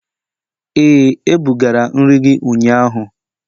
Ee, ebugara nri gị ụnyahụ.